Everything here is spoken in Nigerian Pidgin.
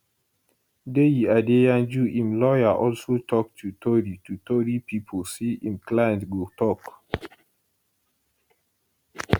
deyi adeyanju im lawyer also tok to tori to tori pipo say im client go tok